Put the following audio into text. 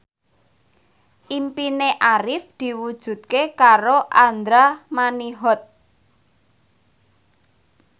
impine Arif diwujudke karo Andra Manihot